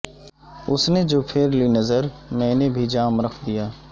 اس نے جو پھیر لی نظر میں نے بھی جام رکھ دیا